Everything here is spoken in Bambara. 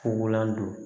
Fugulan don